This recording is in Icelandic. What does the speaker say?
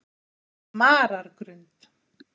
Marargrund